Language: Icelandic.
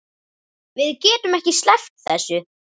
Við getum ekki sleppt þessu.